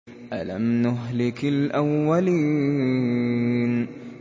أَلَمْ نُهْلِكِ الْأَوَّلِينَ